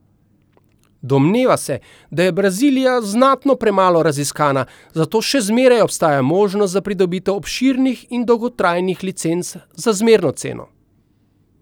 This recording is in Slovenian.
Domneva se, da je Brazilija znatno premalo raziskana, zato še zmeraj obstaja možnost za pridobitev obširnih in dolgotrajnih licenc za zmerno ceno.